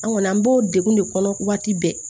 An kɔni an b'o degun de kɔnɔ waati bɛɛ